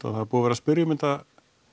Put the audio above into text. og það er búið að vera að spyrja um þetta